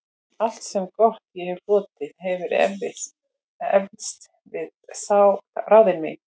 Allt, sem gott ég hefi hlotið, hefir eflst við ráðin þín.